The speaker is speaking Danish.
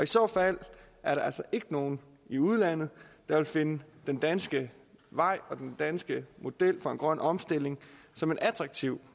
så fald er der altså ikke nogen i udlandet der vil finde den danske vej og den danske model for grøn omstilling attraktiv